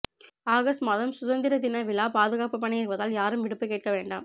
August மாதம் சுதந்திர தின விழா பாதுகாப்பு பணி இருப்பதால் யாரும் விடுப்பு கேட்க வேண்டாம்